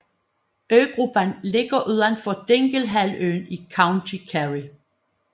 Øgruppen ligger udenfor Dinglehalvøen i County Kerry